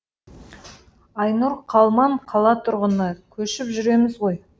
айнұр қалман қала тұрғыны көшіп жүреміз ғой